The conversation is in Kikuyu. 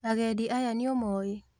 Agendi aya nĩũmoĩ?